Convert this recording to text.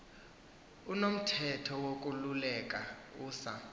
unomthetho wokululeka usa